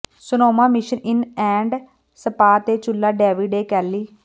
Sonoma mission inn and spa ਤੇ ਚੁੱਲ੍ਹਾ David A Kelly